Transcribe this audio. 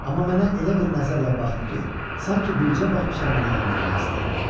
Amma mənə elə bir nəzərlə baxdı ki, sanki bircə baxışla məni yandırmaq istəyirdi.